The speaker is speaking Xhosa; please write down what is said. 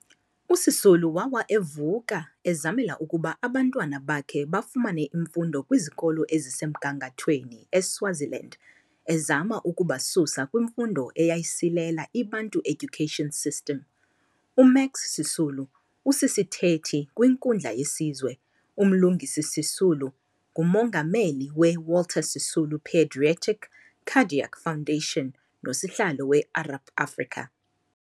USisulu wawa evuka ezamela ukuba abantwana bakhe bafumane imfundo kwizikolo ezisemgangatheni eSwaziland ezama ukubasusa kwimfundo eyayisilela iBantu Education System. UMax Sisulu usisithethi kwinkundla yesizwe, uMlungisi Sisulu ngumongameli we-Walter Sisulu pedietric Cardiac Foundation nosihlalo we-Arup Africa.